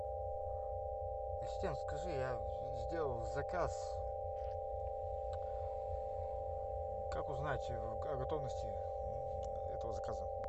ассистент скажи я сделал заказ как узнать о готовности этого заказа